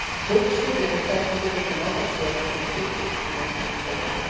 Hugsið um hvernig þið getið notað svörin til að styrkja ykkur sem einstaklinga og par.